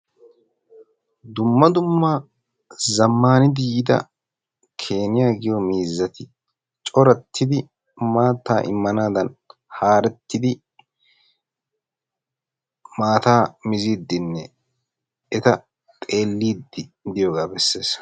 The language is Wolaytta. Dumma dumma zamaaniddi yiidda keeniya giyo miizzatti maatta immanaddan maataa mizziddi doyooga besses.